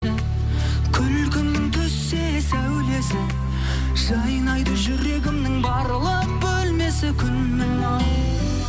күлкің түссе сәулесі жайнайды жүрегімнің барлық бөлмесі күнім ау